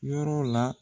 Yɔrɔ la